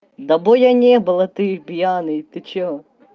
до боя не было ты пьяный ты что